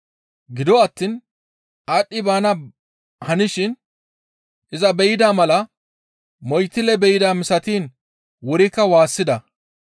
Gido attiin aadhdhi baana hanishin iza be7ida mala moytille be7ida misatiin wurikka waassida.